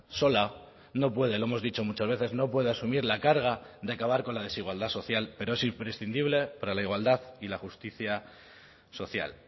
sola no puede lo hemos dicho muchas veces no puede asumir la carga de acabar con la desigualdad social pero es imprescindible para la igualdad y la justicia social